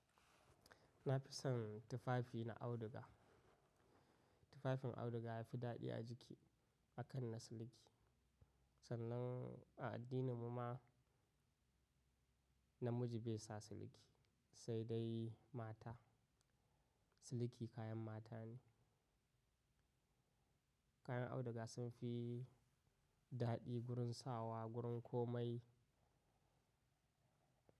Na fi son tufafi na auduga. Tufafin auduga ya fi daɗi a jiki akan na siliki. Sannan a addinin mu ma namiji bai sa siliki sai dai mata. Siliki kayan mata ne. Kayan auduga sun fi daɗi gurin sawa, gurin komai.